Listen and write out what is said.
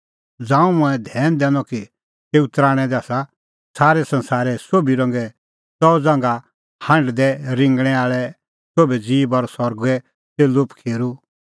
ज़ांऊं मंऐं धैन दैनअ कि तेऊ तराणैं दी आसा संसारे सोभी रंगे च़ऊ ज़ांघा हांढदै रिंगणैं आल़ै सोभै ज़ीब और सरगे च़ेल्लू पखीरू